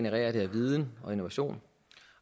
at viden og innovation